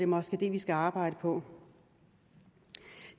måske det vi skal arbejde på